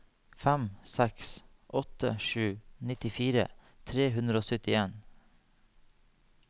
fem seks åtte sju nittifire tre hundre og syttien